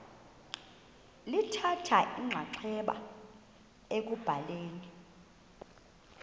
lithatha inxaxheba ekubhaleni